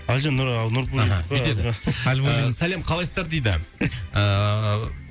әлжан сәлем қалайсыздар дейді ыыы